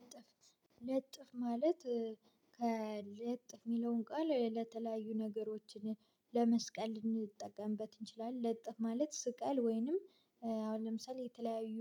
ለጥፍ ለጥፍ ማለት ከለጥፍ የሚለውን ቃል ለተለያዩ ነገሮችን ለመስቀል ልንጠቀምበት እንችላለን። ለጥፍ ማለት ስቀል ወይንም አሁን ለምሳሌ የተለያዩ